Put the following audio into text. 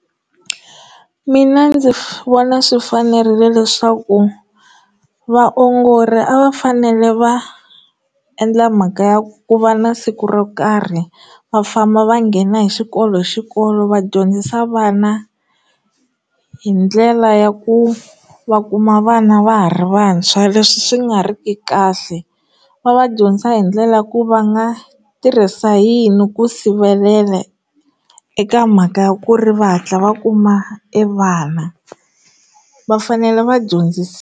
Mina ndzi vona swi fanerile leswaku vaongori a va fanele va endla mhaka ya ku va na siku ro karhi vafamba va nghena hi xikolo hi xikolo va dyondzisa vana hi ndlela ya ku va kuma vana va ha ri vantshwa leswi swi nga ri ki kahle va va dyondza hi ndlela ku va nga tirhisa yini ku sivelela eka mhaka ya ku ri va hatla va kuma evana va fanele va dyondzise.